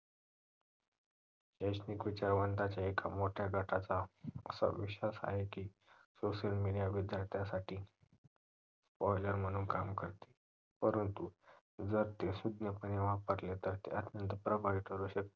एक मिकुच्या एका मोठ्या गटाच्या असा विश्वास आहे की social media विद्यार्थ्यांसाठी poison म्हणून काम करते परंतु जर ते सुज्ञ पाने वापरला तर ते आपल्याला प्रभावी करू शकते